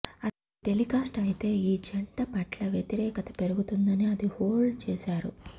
అది టెలికాస్ట్ అయితే ఈ జంట పట్ల వ్యతిరేకత పెరుగుతుందని అది హోల్డ్ చేసారు